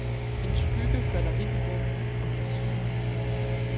En skygge falder ind i rummet og forsvinder.